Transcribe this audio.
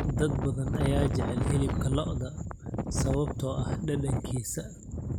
Dad badan ayaa jecel hilibka lo'da sababtoo ah dhadhankiisa.